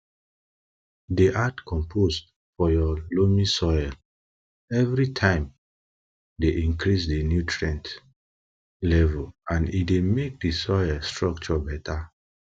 dey add compost for your loamy soil everytimee dey increase di nutrient level and e dey make di soil structure beta